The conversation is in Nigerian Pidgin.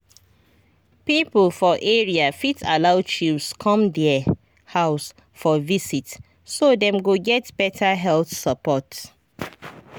people for area fit allow chws come their house for visit so dem go get better health support.